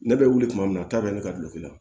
Ne bɛ wuli tuma min na k'a bɛ ne ka dulon la